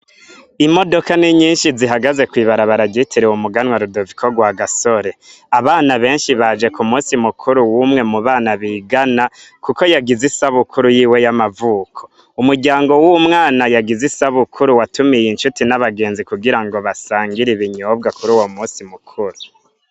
Imodoka ninyishi zihagaze kw'ibarabara ryitiriwe umuganwa Rudoviko Rwagasore abana benshi baje ku munsi mukuru wumwe mu bana bigana kuko yagize isabukuru yiwe y'amavuko umuryango wuwo mwana yagize isabukuru watumiye incuti nabagenzi kugirango basangire ibinyobwa kuruwo munsi mu kuru.